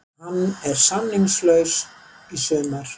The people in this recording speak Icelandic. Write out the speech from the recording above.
Hann er samningslaus í sumar.